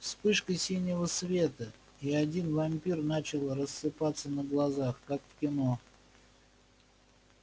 вспышка синего света и один вампир начал рассыпаться на глазах как в кино